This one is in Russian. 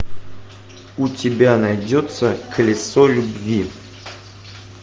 у тебя найдется колесо любви